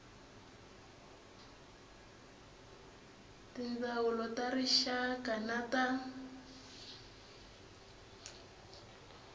tindzawulo ta rixaka na ta